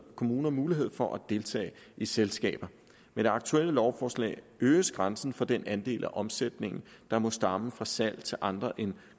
kommuner mulighed for at deltage i selskaber med det aktuelle lovforslag øges grænsen for den andel af omsætningen der må stamme fra salg til andre end